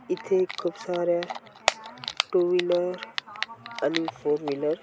इथे खूप साऱ्या टू व्हिलर आणि फोर व्हिलर --